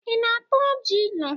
Ị na-ata ọjị ilu?